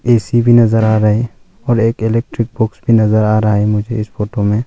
AC भी नजर आ रहा है और एक इलेक्ट्रिक बोर्ड भी नजर आ रहा है मुझे इस फोटो में।